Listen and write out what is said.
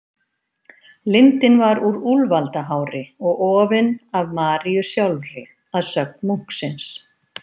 Lindinn var úr úlfaldahári og ofinn af Maríu sjálfri, að sögn munksins.